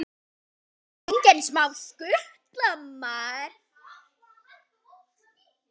Engin smá skutla!